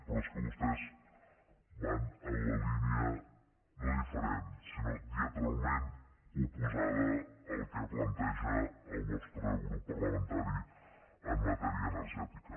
però és que vostès van en la línia no diferent sinó diametralment oposada al que planteja el nostre grup parlamentari en matèria energètica